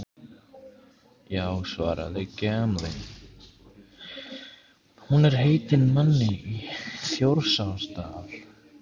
Já svaraði Gamli, hún er heitin manni í Þjórsárdal